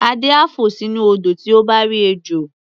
Adé á fò sínú odò tí ó bá rí ejò.